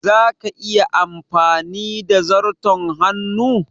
Za ka iya amfani da zarton hannu?